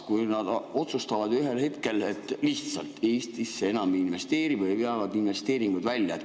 Äkki nad otsustavad ühel hetkel lihtsalt, et Eestisse enam ei investeeri või veavad investeeringud välja?